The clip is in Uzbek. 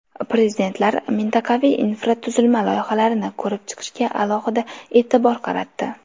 Prezidentlar mintaqaviy infratuzilma loyihalarini ko‘rib chiqishga alohida e’tibor qaratdi.